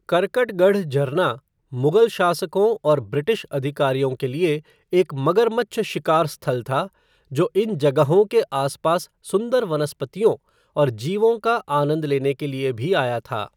करकटगढ़ झरना मुग़ल शासकों और ब्रिटिश अधिकारियों के लिए एक मगरमच्छ शिकार स्थल था, जो इस जगह के आसपास सुंदर वनस्पतियों और जीवों का आनंद लेने के लिए भी आया था।